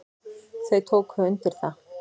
Þau tóku undir það.